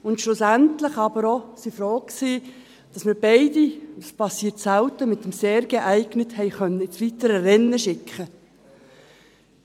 Und schlussendlich waren wir aber auch froh, dass wir beide – dies geschieht selten – mit dem «sehr geeignet» ins weitere Rennen schicken konnten.